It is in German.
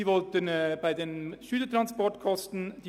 Sie wollten die Gemeinden bei den Schülertransportkosten schonen.